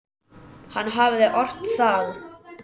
Hann hafði ort það.